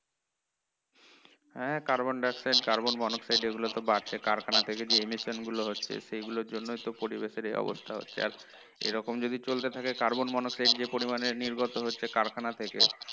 হ্যাঁ carbon dioxide carbon mono oxide এ গুলো তো বাড়ছে কারখানা থেকে যে imitation গুলো হচ্ছে সেই গুলোর জন্যই তো পরিবেশের এই অবস্থা হচ্ছে আর এরকম যদি চলতে থাকে carbon mono oxide যে পরিমাণে নির্গত হচ্ছে কারখানা থেকে